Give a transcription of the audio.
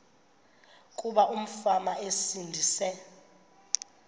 kuba umfana esindise